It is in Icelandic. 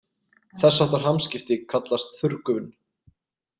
Þess háttar hamskipti kallast þurrgufun.